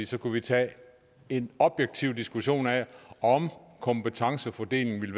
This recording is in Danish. så kunne vi tage en objektiv diskussion af om kompetencefordelingen